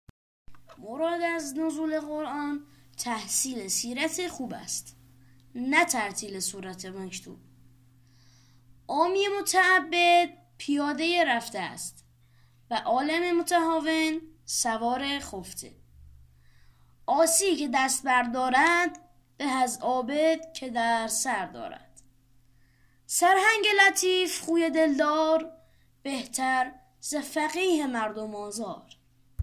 مراد از نزول قرآن تحصیل سیرت خوب است نه ترتیل سورت مکتوب عامی متعبد پیاده رفته است و عالم متهاون سوار خفته عاصی که دست بر دارد به از عابد که در سر دارد سرهنگ لطیف خوی دل دار بهتر ز فقیه مردم آزار